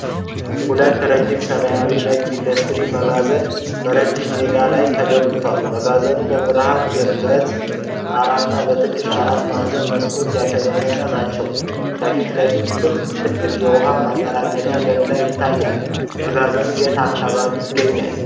ሁለት ረጅም ሰማያዊና ነጭ የኢንዱስትሪ መጋዘኖች በረጅም ሜዳ ላይ ተገንብተዋል። መጋዘኖቹ በብርሃን የብረት ጣራና በትንሽ አራት ማዕዘን መስኮቶች ያሸበረቁ ናቸው። ከፊት ለፊት ክብ ትልቅ የውኃ ማጠራቀሚያ ገንዳ ይታያል። መጋዘኖቹ የት አካባቢ ይገኛሉ?